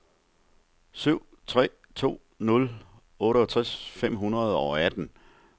syv tre to nul otteogtres fem hundrede og atten